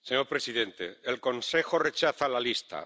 Señor presidente, el Consejo rechaza la lista.